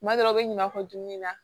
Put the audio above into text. Kuma dɔ la u bɛ ɲuman fɔ dumuni na